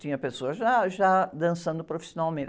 Tinha pessoas já, já dançando profissionalmente.